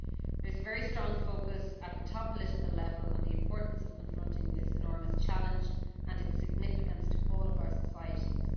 There is a very strong focus at the top political level on the importance of confronting this enormous challenge, and its significance to all of our societies.